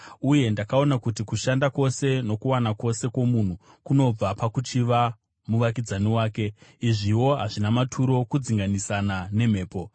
Uye ndakaona kuti kushanda kwose nokuwana kwose kwomunhu kunobva pakuchiva muvakidzani wake. Izviwo hazvina maturo, kudzinganisana nemhepo.